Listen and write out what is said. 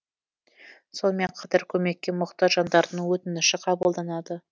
сонымен қатар көмекке мұқтаж жандардың өтініші қабылданады